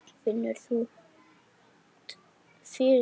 Finnur þú fyrir því?